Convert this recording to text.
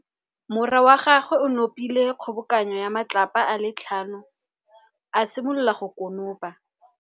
Morwa wa gagwe o nopile kgobokanô ya matlapa a le tlhano, a simolola go konopa.